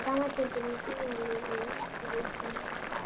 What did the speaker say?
Sama gildir um hjónalífeyri eftir því sem við á.